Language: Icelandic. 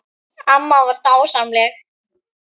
Amma var dásemd.